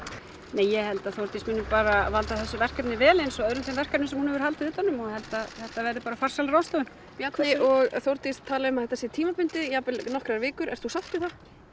nei ég held að Þórdís muni bara valda þessu verkefni vel eins og öðrum þeim verkefnum sem hún hefur haldið utan um og ég held að þetta verði farsæl ráðstöfun Bjarni og Þórdís tala um að þetta sé tímabundið jafnvel nokkrar vikur ert þú sátt við það